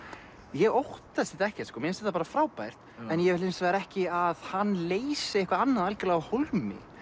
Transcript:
ég óttast þetta ekkert mér finnst þetta bara frábært ég vil hins vegar ekki að hann leysi eitthvað annað algjörlega af hólmi